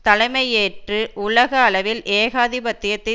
தலைமை ஏற்று உலக அளவில் ஏகாதிபத்தியத்தை